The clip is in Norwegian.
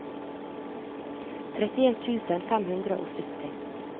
trettien tusen fem hundre og sytti